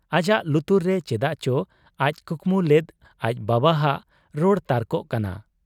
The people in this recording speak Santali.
ᱟᱡᱟᱜ ᱞᱩᱛᱩᱨ ᱨᱮ ᱪᱮᱫᱟᱜ ᱪᱚ ᱟᱡ ᱠᱩᱠᱢᱩ ᱞᱮᱫ ᱟᱡ ᱵᱟᱵᱟᱦᱟᱜ ᱨᱚᱲ ᱛᱟᱨᱠᱚᱜ ᱠᱟᱱᱟ ᱾